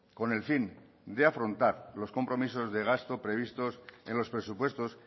con el fin de afrontar los compromisos de gasto previstos en los presupuestos